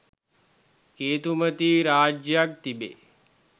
කේතුමතී රාජ්‍යයක් තිබේ.